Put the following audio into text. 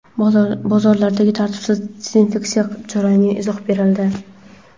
Bozorlardagi tartibsiz dezinfeksiya jarayoniga izoh berildi.